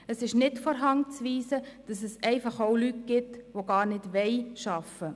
Es ist nicht von der Hand zu weisen, dass es einfach auch Leute gibt, die gar nicht arbeiten wollen.